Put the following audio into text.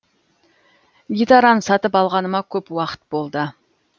гитараны сатып алғаныма көп уақыт болды